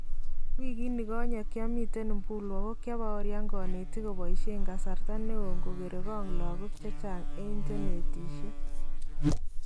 Wikiit nikonye kiamiten Mbulu ako kyabaorian kanetiik kobaishen kasarta neon kokere kong lakook chechang en chenetiishe